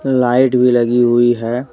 Light भी लगी हुई है।